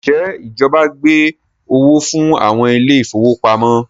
Njẹ ìjọba gbé owó fún àwọn ile-ìfowópamó?